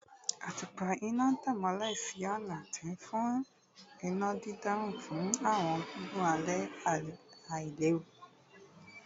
Atupa ina n tan imọlẹ si ọna, ti nfi ina didan fun awọn gigun alẹ ailewu